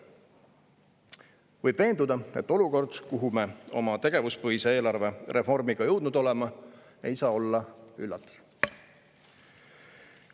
Võib veenduda, et olukord, kuhu me oma tegevuspõhise eelarve reformiga jõudnud oleme, ei saa olla üllatus.